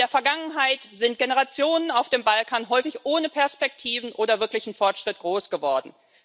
In der Vergangenheit sind Generationen auf dem Balkan häufig ohne Perspektiven oder wirklichen Fortschritt groß geworden.